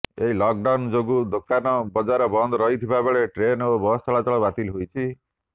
ଏହି ଲକ୍ଡାଉନ୍ ଯୋଗୁଁ ଦୋକାନ ବଜାର ବନ୍ଦ ରହିଥିବା ବେଳେ ଟ୍ରେନ୍ ଓ ବସ୍ ଚଳାଚଳ ବାତିଲ ହୋଇଛି